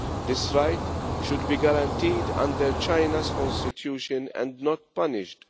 This right should be guaranteed under China's constitution, and not punished.